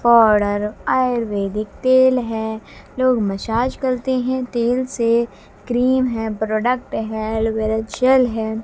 Powder ayurvedic तेल है लोग मसाज करते हैं तेल से क्रीम है प्रोडक्ट है एलोवेरा जेल है।